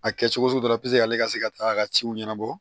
A kɛ cogo sugu dɔ la ale ka se ka taa a ka ciw ɲɛnabɔ